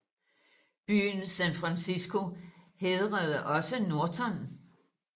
Byen San Francisco hædrede også Norton